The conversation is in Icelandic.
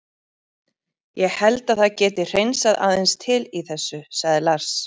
Ég held að það geti hreinsað aðeins til í þessu, sagði Lars.